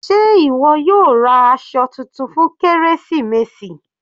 Sé ìwọ yóò ra aṣọ titun fún kérésìmesì?